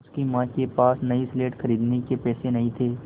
उसकी माँ के पास नई स्लेट खरीदने के पैसे नहीं थे